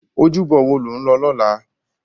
Ójúbò wó ló n lò lòlá?